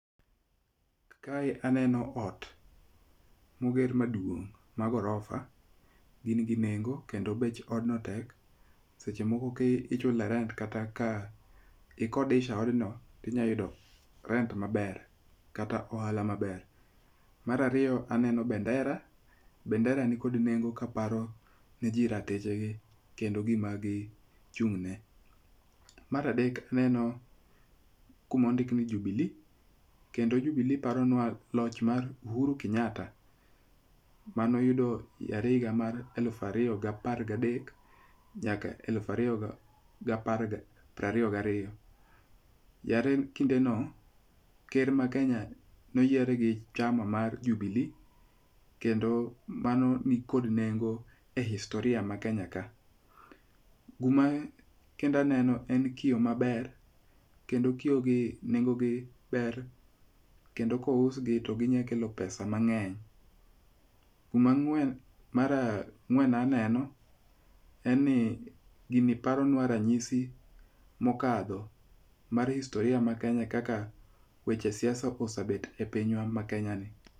Kae aneno ot moger maduong' ma gorofa gin gi nengo kendo bech odno tek. Seche moko ka ichule rent kata ka ikodesha odno to inyalo yude rent maber kata ohala maber. Mar ariyo aneno bandera , bandera nikod nengo kaparo niji ratich gi kendo gima gi gichung' ne. Mar adek aneno kuma ndik ni Jubilee kendo Jubile paronua loch mar Ohuru Kenyatta manoyudo higa mar elufu ariyo gi apar gadek nyaka higa elufu ariyo gapar ga piero ariyo gariyo. Yande kindeno ker ma Kenya ne oyiere gi chama mar Jubili kendo mano nikod nengo e historia ma Kenya ka. Gima kendo aneno en kio maber kendo kio manengogi ber kendo kousg to ginyalo kelo pesa mang'eny. Kuom ang'wen mar ang'wen aneno en ni gini paronua ranyisi mokadho mar historia ma Kenya kaka weche siasa osebet e pinywa ma Kenya ni.